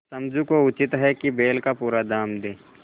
समझू को उचित है कि बैल का पूरा दाम दें